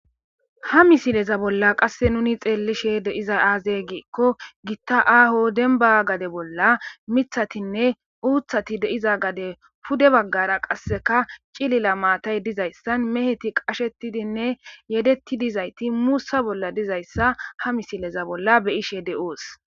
ha misileza bolla qasse nuni xeellishe de iza aaze giikko gitta aaho denba gade bolla mithatinne uuthati deiza gade pude baggara qasseka cilila maatay dizayssan meheti qashetidinne yedetti dizayti muussa bolla dizayssa ha misileza bolla beyishe de7oos